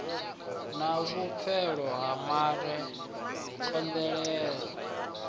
na vhupfelo ha mare thovhela